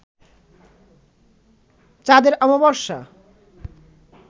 চাঁদের অমাবশ্যা